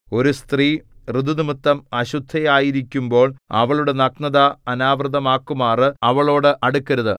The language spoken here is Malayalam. ഒരു സ്ത്രീ ഋതു നിമിത്തം അശുദ്ധയായിരിക്കുമ്പോൾ അവളുടെ നഗ്നത അനാവൃതമാക്കുമാറ് അവളോട് അടുക്കരുത്